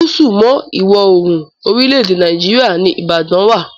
Gúsù mọ́ Ìwọ̀-oòrùn orílẹ̀-èdè Nàìjíríà ní Ìbàdà wà.